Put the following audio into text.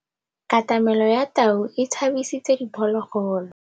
Katamêlô ya tau e tshabisitse diphôlôgôlô.